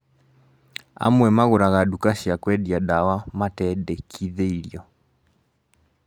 Amwe magũraga duka cia kwendia dawa matendekithĩirio